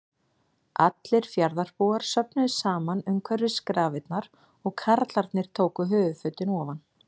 Allir fjarðarbúar söfnuðust saman umhverfis grafirnar og karlarnir tóku höfuðfötin ofan.